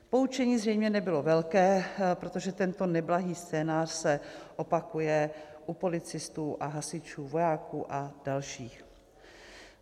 Poučení zřejmě nebylo velké, protože tento neblahý scénář se opakuje u policistů a hasičů, vojáků a dalších.